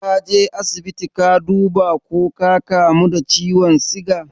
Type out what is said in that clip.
Kaje asibiti ka duba ko ka kamu da ciwon siga?